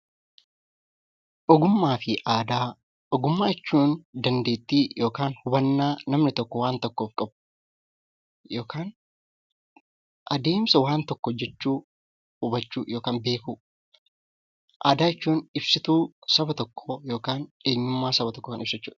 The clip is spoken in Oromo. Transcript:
Ogummaa fi aadaa Ogummaa jechuun dandeettii yookaan hubannaa namni tokko waan tokkoof qabu yookaan adeemsa waan tokko hojjechuu, hubachuu yookaan beekuu. Aadaa jechuun ibsituu saba tokkoo yookaan eenyummaa saba tokkoo kan ibsu jechuu dha.